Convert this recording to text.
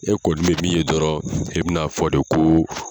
E kɔni bɛ min ye dɔrɔn e bɛ na fɔ de ko